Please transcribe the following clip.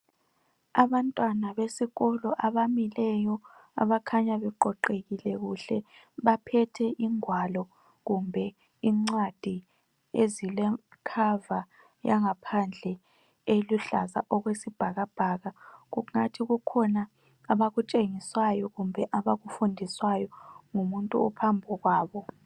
Abantwana besikolo abamileyo abakhanya beqoqekile kuhle baphethe ingwalo kumbe ingcwadi ezilekhava phandle eluhlaza okwesibhakabhaka kungathi kukhona abakutshengiswayo kumbe abakufundiswayo ngumuntu ophambi kwabo